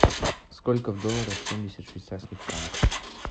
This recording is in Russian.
сколько в долларах семьдесят швейцарских франков